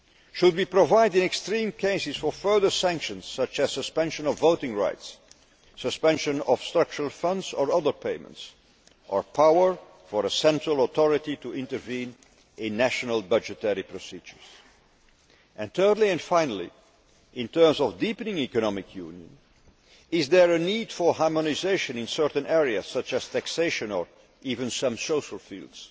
Should we provide, in extreme cases, for further sanctions such as suspension of voting rights, suspension of structural funds or other payments, or power for a central authority to intervene in national budgetary procedures? Thirdly and finally, in terms of deepening economic union, is there a need for harmonisation in certain areas such as taxation or even some social fields?